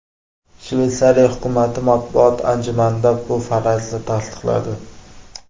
Shveysariya hukumati matbuot anjumanida bu farazni tasdiqladi.